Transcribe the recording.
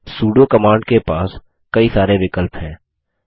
pseudo command के पास कई सारे विकल्प हैं